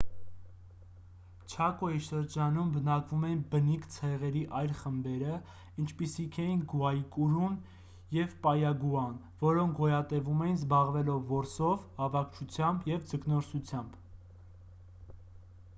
չակոյի շրջանում բնակվում էին բնիկ ցեղերի այլ խմբերը ինչպիսիք էին գուայկուրուն և պայագուան որոնք գոյատևում էին զբաղվելով որսով հավաքչությամբ և ձկնորսությամբ